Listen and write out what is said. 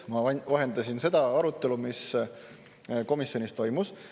Ma ainult vahendasin seda arutelu, mis komisjonis toimus.